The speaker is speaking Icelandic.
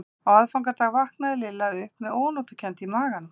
Á aðfangadag vaknaði Lilla upp með ónotakennd í maganum.